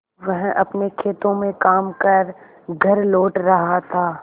वह अपने खेतों में काम कर घर लौट रहा था